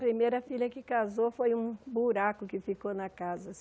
A primeira filha que casou foi um buraco que ficou na casa